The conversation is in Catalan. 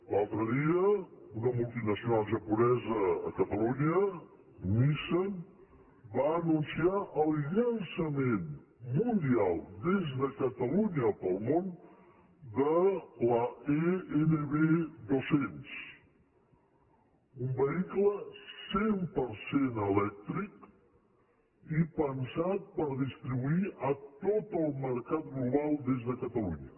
l’altre dia una multinacional japonesa a catalunya nissan va anunciar el llançament mundial des de catalunya per al món de l’e nv200 un vehicle cent per cent elèctric i pensat per distribuir a tot el mercat global des de catalunya